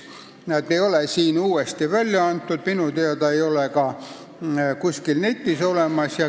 Neid ei ole siin välja antud ja minu teada ei ole neid ka netis olemas.